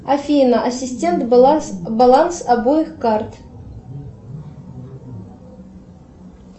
афина ассистент баланс обоих карт